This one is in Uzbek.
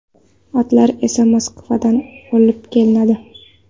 Otlar esa Moskvadan olib kelinadi.